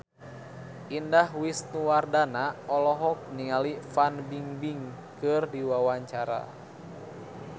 Indah Wisnuwardana olohok ningali Fan Bingbing keur diwawancara